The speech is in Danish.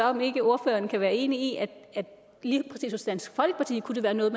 om ikke ordføreren kan være enig i at lige præcis hos dansk folkeparti kunne det være noget